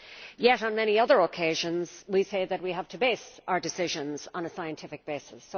Yet, on many other occasions, we say that we have to base our decisions on a scientific basis.